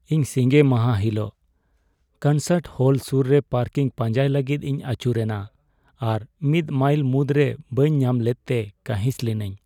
ᱤᱧ ᱥᱤᱸᱜᱮ ᱢᱟᱦᱟ ᱦᱤᱞᱳᱜ ᱠᱚᱱᱥᱟᱨᱴ ᱦᱚᱞ ᱥᱩᱨ ᱨᱮ ᱯᱟᱨᱠᱤᱝ ᱯᱟᱸᱡᱟᱭ ᱞᱟᱹᱜᱤᱫ ᱤᱧ ᱟᱹᱪᱩᱨ ᱮᱱᱟ ᱟᱨ ᱢᱤᱫ ᱢᱟᱭᱤᱞ ᱢᱩᱫᱽᱨᱮ ᱵᱟᱹᱧ ᱧᱟᱢ ᱞᱮᱫᱛᱮ ᱠᱟᱹᱦᱤᱥ ᱞᱤᱱᱟᱹᱧ ᱾